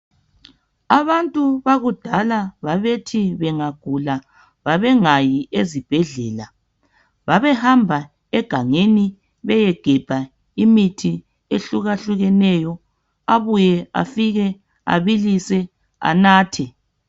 Abantu bakudala babethi bengagula bengahambi ezibhedlela, babehamba egangeni bayegebha izihlahla babuye babilise banathe imithi yesintu basile.